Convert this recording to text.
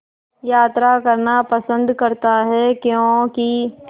यात्रा करना पसंद करता है क्यों कि